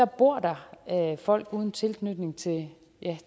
bor der folk uden tilknytning til